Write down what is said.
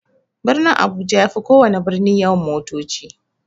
Birnin abuja yafi kowana birni yawan motoci.